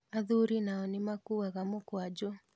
Athuri nao nĩmakuaga mũkwajũ